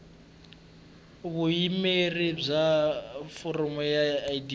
vuyimeri bya foramu ya idp